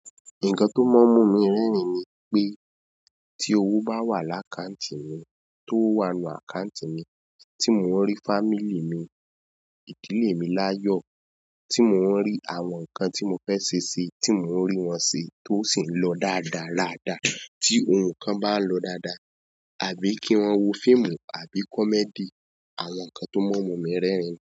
Nǹkan tó mọ́ mí mú mí rẹ́rìn ni pé tí owó bá wà lákàǹtì mi, tó wà nínú àkàǹtì mi, tí mò ń rí family mi, ìdílé mi láyọ̀, tí mò ń rí àwọn nǹkan tí mo fẹ́ ṣe sí tí mò ń rí wọn ṣe tó sì ń lọ dáadáa ra dàá, tí ohun kan bá ń lọ dáadáa, àbí kí maa wo fíìmù àbí comedy, àwọn nǹkan tó mọ́ mu mí rẹ́rìn ni.